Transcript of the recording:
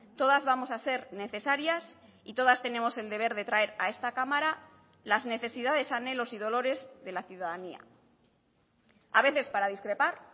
todas vamos a ser necesarias y todas tenemos el deber de traer a esta cámara las necesidades anhelos y dolores de la ciudadanía a veces para discrepar